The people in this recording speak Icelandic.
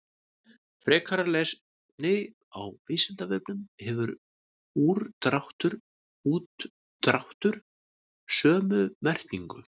Frekara lesefni á Vísindavefnum: Hefur úrdráttur og útdráttur sömu merkingu?